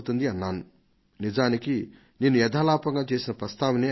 నేను ఆ మాటలు యథాలాపంగా చెప్పినవే అయినా